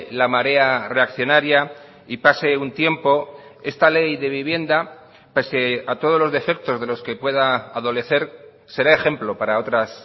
la marea reaccionaria y pase un tiempo esta ley de vivienda pese a todos los defectos de los que pueda adolecer será ejemplo para otras